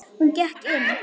Hún gekk inn.